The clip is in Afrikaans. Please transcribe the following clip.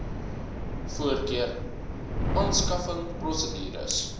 voorkeur aanskaffing prosedures